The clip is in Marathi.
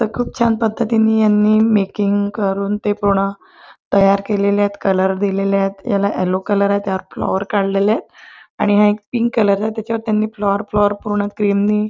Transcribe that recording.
खूप छान पद्धतीने यांनी मेकिंग करून ते पूर्ण तयार केलेले आहे कलर दिलेले आहे याला यल्लो कलर आहे त्याला फ्लॉवर काढलेल आहे आणि हा एक पिंक कलर आहे त्याच्यावर त्यानी फ्लॉवर फ्लॉवर पूर्ण क्रीम ने --